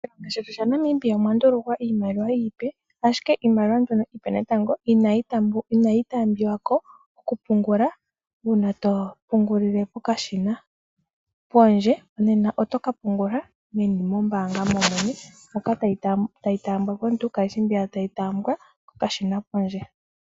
Moshilongo shetu shaNamibia omwa ndulukwa iimaliwa iipe, ashike iimaliwa mbyono iipe ihayi taambiwa ko natango komashina gopondje, oto ka mbaanga meni lyombaanga, itoo longitha omashina gopondje.